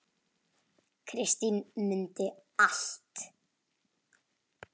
Kristín mundi allt.